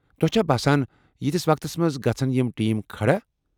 تۄہہ چھا باسان ییتِس وقتس منٛز گژھِ یِم ٹیٖم کھڑا؟